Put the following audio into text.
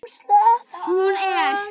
Hún er